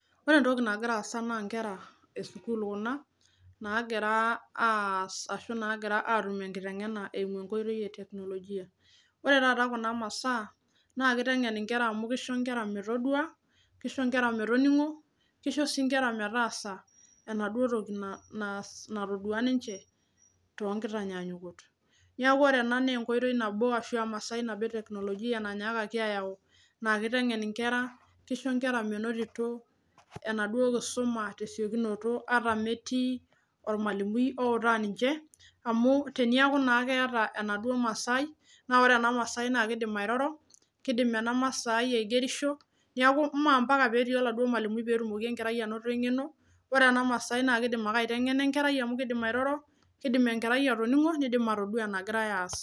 Ore entoki nagira aasa naa inkera esukuul kuna naagira aas ashu naagira atum enkiteng'ena eimu enkoitoi e teknolojia ore taata kuna masaa naa kiteng'en inkera amu kisho inkera metodua kisho inkera metoning'o kisho sii inkera metaasa enaduo toki naa naas natodua ninche tonkitanyaanyukot niaku ore ena nenkoitoi nabo ashu emasai nabo teknolojia nanyaakaki ayau naa kiteng'en inkera kisho inkera menotito enaduo kisuma tesiokinoto ata metii ormalimui outaa ninche amu teniaku naa keeta enaduo masai naa ore ena masai naa kidim airoro kidim ena masai aigerisho niaku mee ampaka petii oladuo malimui petumoki enkerai anoto eng'eno wore ena masai naa kidim ake aiteng'ena enkerai amu kidim airoro kidim enkerai atoning'o nidim atodua enagirae aas.